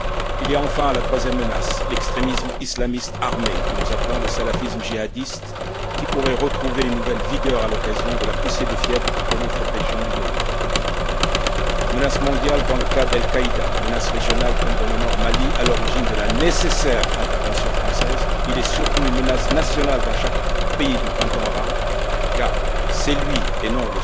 Il y a enfin la troisième menace l'extrémisme islamiste armé, que nous appelons le salafisme djihadiste, qui pourrait retrouver une nouvelle vigueur à l'occasion de la poussée de fièvre que connaît cette région du monde. Menace mondiale dans le cas d'Al Qaïda, menace régionale comme dans le nord du Mali, à l'origine de la nécessaire intervention française, il est surtout une menace nationale dans chaque pays du printemps arabe, car c'est lui, et non